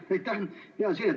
Aitäh!